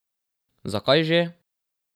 Zakaj že?